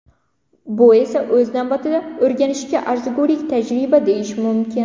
Bu esa o‘z navbatida o‘rganishga arzigulik tajriba deyish mumkin.